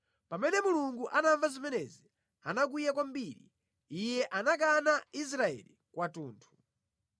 Pamene Mulungu anamva zimenezi, anakwiya kwambiri; Iye anakana Israeli kwathunthu.